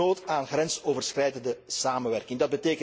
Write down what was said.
Dus is er nood aan grensoverschrijdende samenwerking.